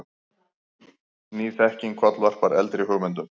Ný þekking kollvarpar eldri hugmyndum.